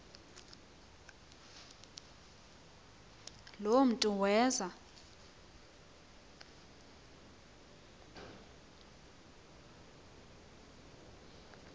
lo mntu weza